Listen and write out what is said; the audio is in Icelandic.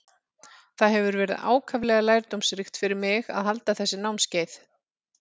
Það hefur verið ákaflega lærdómsríkt fyrir mig að halda þessi námskeið.